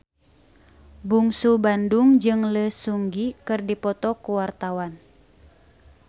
Bungsu Bandung jeung Lee Seung Gi keur dipoto ku wartawan